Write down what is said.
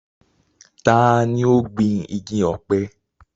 ta ni ó gbin igi ọ̀pẹ?